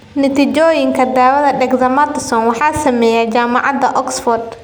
Natiijooyinka daawada dexamethasone waxaa sameeyay Jaamacadda Oxford.